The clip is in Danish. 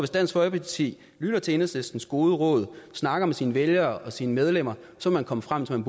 dansk folkeparti hvis lytter til enhedslistens gode råd og snakker med sine vælgere og sine medlemmer så vil komme frem til at